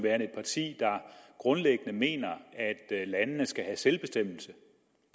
er et parti der grundlæggende mener at landene skal have selvbestemmelse